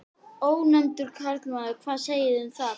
Ónefndur karlmaður: Hvað segið þið um það?